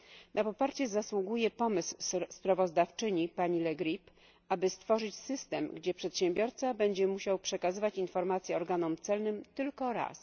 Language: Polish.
Na poparcie zasługuje pomysł sprawozdawczyni, pani Le Grip, aby stworzyć system, gdzie przedsiębiorca będzie musiał przekazywać informacje organom celnym tylko raz.